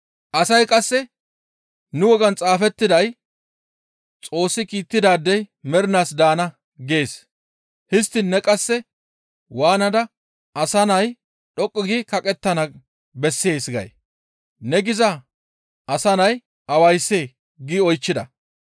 Asay qasse, «Nu wogan xaafettiday, ‹Xoossi kiittidaadey mernaas daana› gees; histtiin ne qasse waanada, ‹Asa Nay dhoqqu gi kaqettana bessees› gay? Ne giza Asa Nay awayssee?» gi oychchida.